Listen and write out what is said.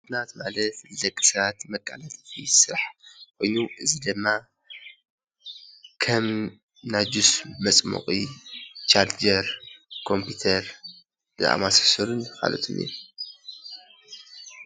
ማሽናት ማለት ንደቂ ሰባት መቀላጠፊ ስራሕ ኮይኑ እዚ ድማ ከም ናይ ጁስ መፅሞቒ፣ ቻርጀር፣ ኮምፒዩተር ዝኣመሳሰሉን ካልኦትን እዮም፡፡